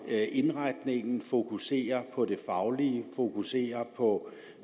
indretningen fokuserer på det faglige fokuserer på